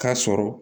K'a sɔrɔ